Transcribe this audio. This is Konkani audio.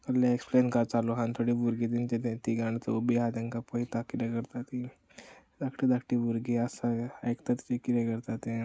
कसले एक्स्प्लेन काय चालु आहा आनी थोडी भुरगी तीगा जाणा चोग बीन आहा तेंका पयता कीदे करता ती धाकटी धाकटी भुरगी आसा आयकतात कीदे करता ते.